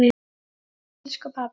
En elsku pabbi!